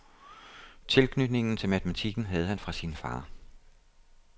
Tilknytningen til matematikken havde han fra sin far.